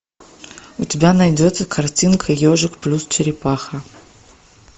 у тебя найдется картинка ежик плюс черепаха